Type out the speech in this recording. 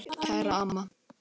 Kæra mamma.